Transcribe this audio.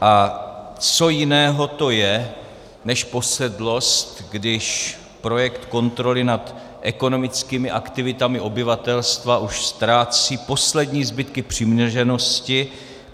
A co jiného to je než posedlost, když projekt kontroly nad ekonomickými aktivitami obyvatelstva už ztrácí poslední zbytky přiměřenosti?